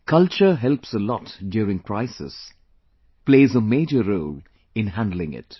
Culture helps a lot during crisis, plays a major role in handling it